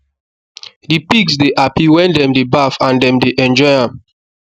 the pigs dey happy wen dem dey baff and dem dey enjoy am